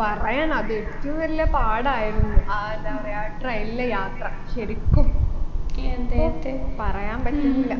പറയണ അതെറ്റും വലിയ പാടായിരുന്നു ആ എന്താ പറയാ train ലെ യാത്ര ശരിക്കും പറയാൻ പറ്റുന്നില്ല